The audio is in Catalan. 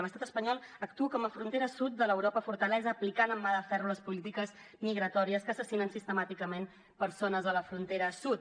l’estat espanyol actua com a frontera sud de l’europa fortalesa aplicant amb mà de ferro les polítiques migratòries que assassinen sistemàticament persones a la frontera sud